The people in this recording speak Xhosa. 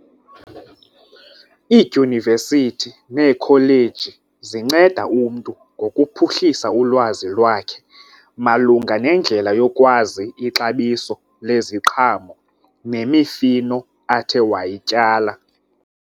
Iidyunivesithi neekholeji zinceda umntu ngokuphuhlisa ulwazi lwakhe malunga nendlela yokwazi ixabiso leziqhamo nemifino athe wayityala.